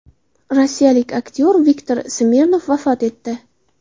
Rossiyalik aktyor Viktor Smirnov vafot etdi.